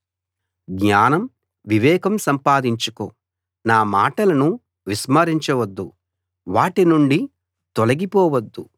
జ్ఞానం వివేకం సంపాదించుకో నా మాటలను విస్మరించ వద్దు వాటినుండి తొలగిపోవద్దు